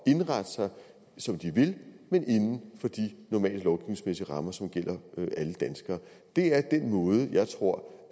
indrette sig som de vil men inden for de normale lovgivningsmæssige rammer som gælder alle danskere det er den måde jeg tror